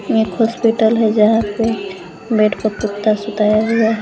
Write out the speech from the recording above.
ये एक हॉस्पिटल है जहां पे बेड प कुत्ता सुताया गया है।